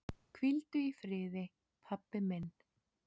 Hvíldu í friði, pabbi minn.